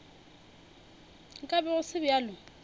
nka be go se bjalo